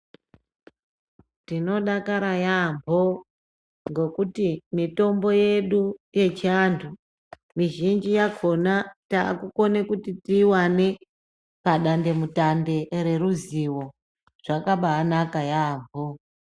Tino dakara yambo ngekuti mitombo yedu yechi antu mizhinji yakona taku kone kuti tiyi wane pa dande mutande re ruzivo zvakabai naka yambo.